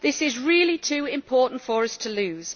This is really too important for us to lose.